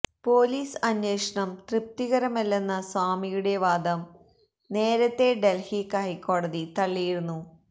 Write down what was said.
police അന്വേഷണം തൃപ്തികരമല്ലെന്ന സ്വാമിയുടെ വാദം നേരത്തെ ഡൽഹി ഹൈകോടതി തള്ളിയിരുന്നു